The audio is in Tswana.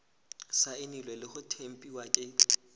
saenilwe le go tempiwa ke